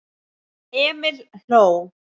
Emil hló.